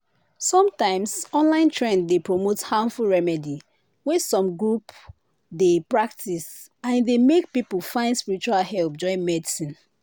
sometimes online trend dey promote harmful remedy wey some group dey practice and e dey make people find spiritual help join medicine.